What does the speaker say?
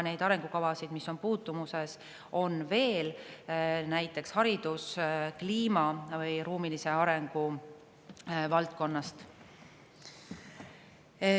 Neid arengukavasid, mis on puutumuses, on veel, näiteks hariduse, kliima või ruumilise arengu valdkonnas.